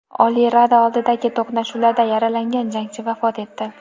Oliy Rada oldidagi to‘qnashuvlarda yaralangan jangchi vafot etdi.